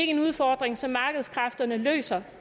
en udfordring som markedskræfterne løser